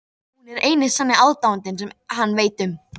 Hún er eini sanni aðdáandinn sem hann veit um.